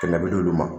Kɛmɛ bi duuru ma